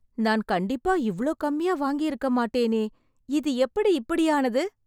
நான் கண்டிப்பா இவ்ளோ கம்மியா வாங்கியிருக்க மாட்டேனே! இது எப்படி இப்படி ஆனது!